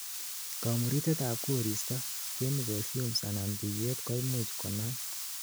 kamuritet ab koristo, chemical fumes anan buywet koimuch konam